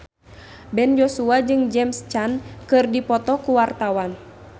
Ben Joshua jeung James Caan keur dipoto ku wartawan